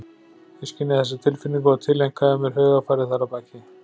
Ég skynjaði þessa tilfinningu og tileinkaði mér hugarfarið þar að baki.